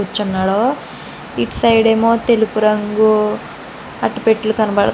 ఇటు సైడ్ ఏమో తెలిపురంగు అట్టపెట్టలు కనబడు --